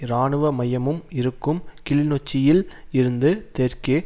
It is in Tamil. இராணுவ மையமும் இருக்கும் கிள்நொச்சியில் இருந்து தெற்கே